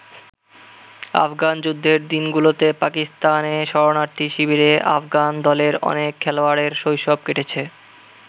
আফগান যুদ্ধের দিনগুলোতে পাকিস্তানে শরণার্থী শিবিরে আফগান দলের অনেক খেলোয়াড়ের শৈশব কেটেছে।